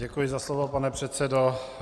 Děkuji za slovo, pane předsedo.